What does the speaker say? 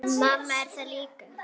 Mamma er þar líka.